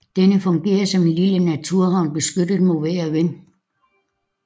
Denne fungerer som en lille naturhavn beskyttet mod vejr og vind